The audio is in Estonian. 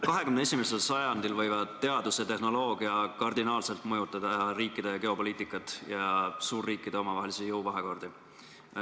21. sajandil võivad teadus ja tehnoloogia kardinaalselt mõjutada riikide geopoliitikat ja suurriikide omavahelisi jõuvahekordi.